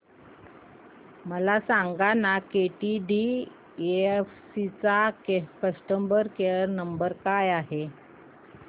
मला सांगाना केटीडीएफसी चा कस्टमर केअर क्रमांक काय आहे